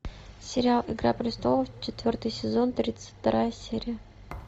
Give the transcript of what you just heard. сериал игра престолов четвертый сезон тридцать вторая серия